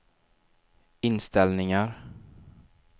inställningar